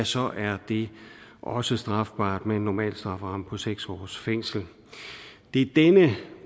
så er det også strafbart med en normal strafferamme på seks års fængsel det er denne